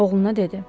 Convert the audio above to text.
oğluna dedi.